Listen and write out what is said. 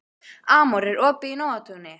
Amor, er opið í Nóatúni?